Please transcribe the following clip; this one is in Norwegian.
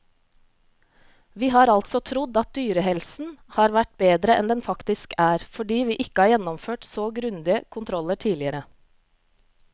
Vi har altså trodd at dyrehelsen har vært bedre enn den faktisk er, fordi vi ikke har gjennomført så grundige kontroller tidligere.